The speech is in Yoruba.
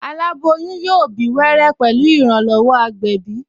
Aláboyún yóò bí wẹ́rẹ́ pẹ̀lú ìrànlọ́wọ́ agbẹ̀bí